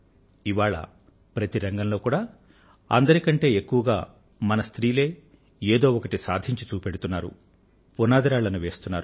ఇవాళ ప్రతి రంగంలోనూ అందరి కంటే ఎక్కువగా మన స్త్రీలే ఏదో ఒకటి సాధించి చూపెడుతున్నారు పునాదిరాళ్లను వేస్తున్నారు